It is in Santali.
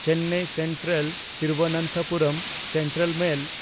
ᱪᱮᱱᱱᱟᱭ ᱥᱮᱱᱴᱨᱟᱞ–ᱛᱤᱨᱩᱵᱚᱱᱛᱷᱚᱯᱩᱨᱚᱢ ᱥᱮᱱᱴᱨᱟᱞ ᱢᱮᱞ